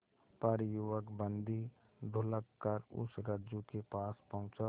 पर युवक बंदी ढुलककर उस रज्जु के पास पहुंचा